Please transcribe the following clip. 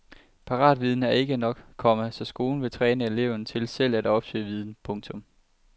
Paratviden er ikke nok, komma så skolen vil træne eleverne til selv at opsøge viden. punktum